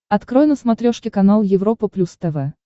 открой на смотрешке канал европа плюс тв